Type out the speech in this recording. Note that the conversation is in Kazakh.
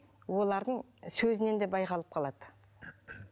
олардың сөзінен де байқалып қалады